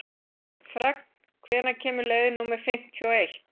Fregn, hvenær kemur leið númer fimmtíu og eitt?